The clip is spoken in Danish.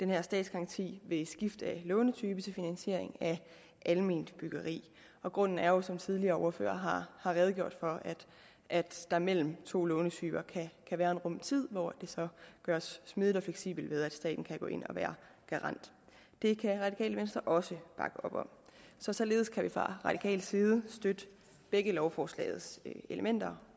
her statsgaranti ved skift af lånetype til finansiering af alment byggeri og grunden er jo som tidligere ordførere har redegjort for at der mellem to lånetyper kan være en rum tid hvor det så gøres smidigt og fleksibelt ved at staten kan gå ind og være garant det kan radikale venstre også bakke op om så således kan vi fra radikale venstres side støtte begge lovforslagets elementer